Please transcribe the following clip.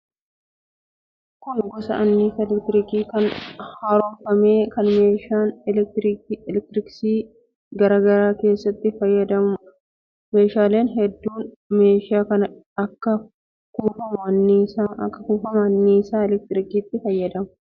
Kun gosa annisaa elektirikii hin haaromfamne kan meeshaalee elektirooniksii garaa garaa keessatti fayyaduudha. Meeshaaleen hedduun meeshaa kana akka kuufama annisaa elektirikiitti(voolteejii) fayyadamu. Meeshaan kun deemsa wal nyaatiinsa keemilkaalaatiin kan hojjetamuudha.